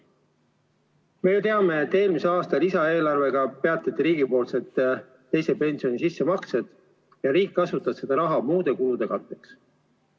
Me teame, et eelmise aasta lisaeelarvega peatati riigipoolsed teise pensionisamba sissemaksed ja riik kasutas seda raha muude kulude katteks.